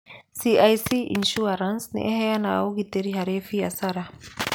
CIC Insurance nĩ ĩheanaga ũgitĩri harĩ biacara.